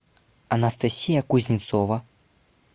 анастасия кузнецова